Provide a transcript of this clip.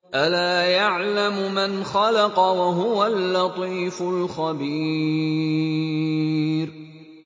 أَلَا يَعْلَمُ مَنْ خَلَقَ وَهُوَ اللَّطِيفُ الْخَبِيرُ